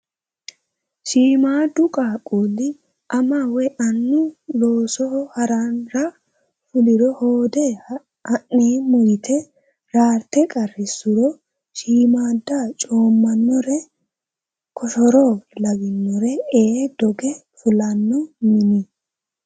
Shiimmadu qaaqqulli ama woyi annu loosoho harara fuliro hoode ha'neemmo yite raarte qarrisuro shiimmada coommanore koshoro lawinore ee doge fulanno minii.